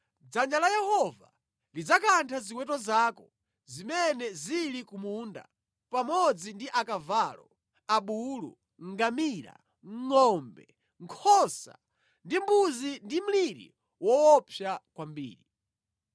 dzanja la Yehova lidzakantha ziweto zako zimene zili ku munda, pamodzi ndi akavalo, abulu, ngamira, ngʼombe, nkhosa ndi mbuzi ndi mliri woopsa kwambiri.